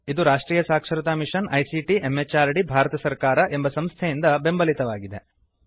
ಇದುರಾಷ್ಟ್ರಿಯ ಸಾಕ್ಷರತಾ mission ICT MHRD Bharat ಸರ್ಕಾರ ಎಂಬ ಸಂಸ್ಥೆಯಿಂದಬೆಂಬಲಿತವಾಗಿದೆ